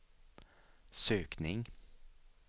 sökning